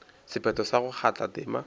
sephetho sa go kgatha tema